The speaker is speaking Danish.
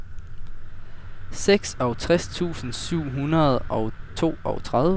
seksogtres tusind syv hundrede og toogtredive